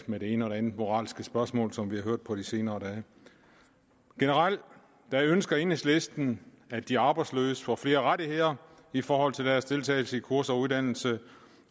med det ene og andet moralske spørgsmål som vi har hørt på de senere dage generelt ønsker enhedslisten at de arbejdsløse får flere rettigheder i forhold til deres deltagelse i kurser og uddannelse